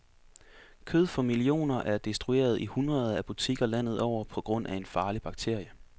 Kød for millioner er destrueret i hundreder af butikker landet over på grund af en farlig bakterie.